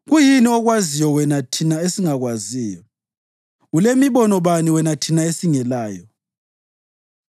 Kuyini okwaziyo wena thina esingakwaziyo? Ulemibono bani wena thina esingelayo?